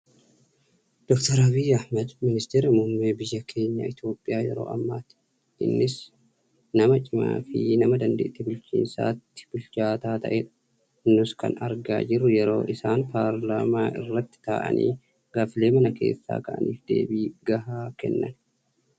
Doktor Abiyi Ahimad, ministeera muummee biyya keenya Itoophiyaa yeroo ammaati. Innis nama cimaa fi nama dandeettii bulchiinsaatti bilchaataa ta'edha. Nus kan argaa jirru yeroo isaan paarlaamaa irratti taa'anii gaaffilee mana keessaa ka'aniif deebii gahaa kennan.